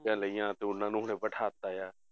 ਸੀਟਾਂ ਲਈਆਂ ਤੇ ਉਹਨੂੰ ਫਿਰ ਬਿਠਾ ਦਿੱਤਾ ਹੈ